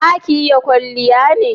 za ki yi kwalliya ne?